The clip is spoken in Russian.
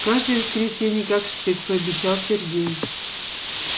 каждое воскресенье как штык пообещал сергей